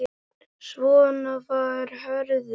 Svona var Hörður.